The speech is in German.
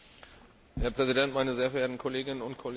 Herr Präsident, meine sehr verehrten Kolleginnen und Kollegen!